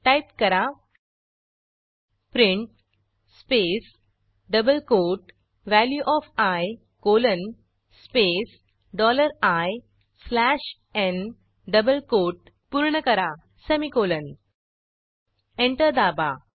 type करा print space double quote value of I colon space dollar I slash n double quote पूर्ण करा semicolon enter दाबा